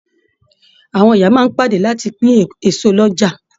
Àwọn ìyá máa n pàdé láti pin èso l'ọja.